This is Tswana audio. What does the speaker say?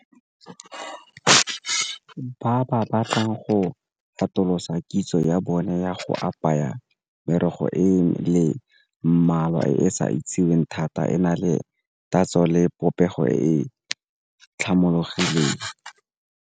Ba ba batlang go atolosa kitso ya bone ya go apaya merogo e le mmalwa e e sa itseweng thata e na le tatso le popego e .